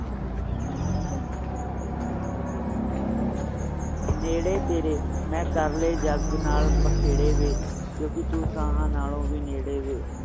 ਨੇੜੇ ਤੇਰੇ ਮੈਂ ਕਰ ਲਾਏ ਜਗ ਨਾਲ ਬਖੇੜੇ ਵੇ ਕਿਉਕਿ ਤੂੰ ਸਾਹਾਂ ਨਾਲੋਂ ਵੀ ਨੇੜੇ ਵੇ